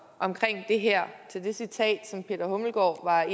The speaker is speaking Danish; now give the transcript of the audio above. omkring det her citat som herre peter hummelgaard